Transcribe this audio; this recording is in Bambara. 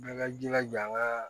Bɛɛ ka jilaja n ka